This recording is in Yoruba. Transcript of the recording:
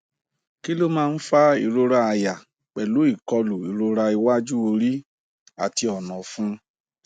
kí ló máa ń fa ìrora àyà pelu ikolu irora iwaju ori ati ona ọfun